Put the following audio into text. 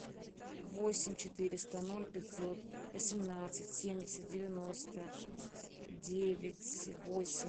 восемь четыреста ноль пятьсот восемнадцать семьдесят девяносто девять восемь